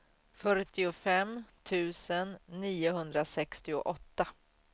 fyrtiofem tusen niohundrasextioåtta